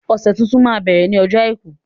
Ọ̀sẹ̀ tuntun máa ń bẹ̀rẹ̀ ní ọjọ́ àìkú